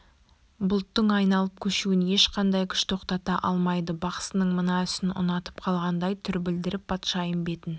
бұлттың айналып көшуін ешқандай күш тоқтата алмайды бақсының мына ісін ұнатып қалғандай түр білдіріп патшайым бетін